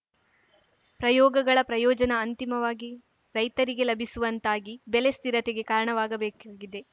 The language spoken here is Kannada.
ಪ್ರಯೋಗಗಳ ಪ್ರಯೋಜನ ಅಂತಿಮವಾಗಿ ರೈತರಿಗೆ ಲಭಿಸುವಂತಾಗಿ ಬೆಲೆ ಸ್ಥಿರತೆಗೆ ಕಾರಣವಾಗಬೇಕಾಗಿದೆ